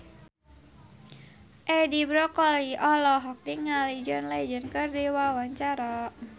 Edi Brokoli olohok ningali John Legend keur diwawancara